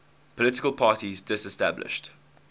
political parties disestablished